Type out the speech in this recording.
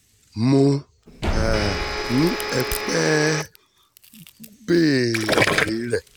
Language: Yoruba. mo um ní ẹ pè é e béèrè rẹ̀